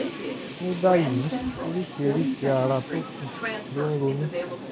ní báyìí oríkèé-ríkèé ara tó kù ló ń ro mí